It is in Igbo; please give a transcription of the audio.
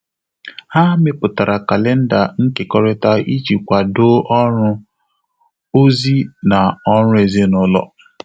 Há mépụ́tàrà kàléndà nkèkọ́rị́tà ìjí kwàdò ọ́rụ́, ózị́ nà ọ́rụ́ èzínụ́lọ́.